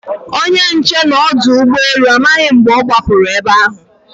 Onye nche n' ọdọụgbọelu amaghị mgbe ọ gbapụrụ egbe ahụ.